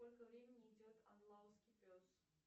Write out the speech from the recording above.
сколько времени идет андалузский пес